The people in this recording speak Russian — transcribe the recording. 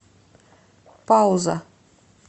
пауза